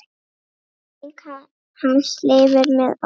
Minning hans lifir með okkur.